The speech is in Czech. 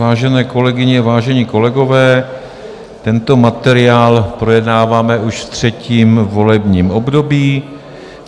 Vážené kolegyně, vážení kolegové, tento materiál projednáváme už v třetím volebním období.